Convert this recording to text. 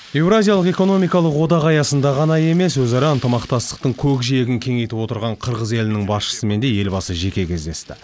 еуразиялық экономикалық одақ аясында ғана емес өзара ынтамақтастықтың көкжиегін кеңейтіп отырған қырғыз елінің басшысымен де елбасы жеке кездесті